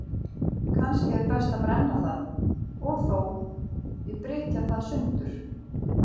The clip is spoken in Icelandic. Kannski er best að brenna það, og þó, ég brytja það sundur.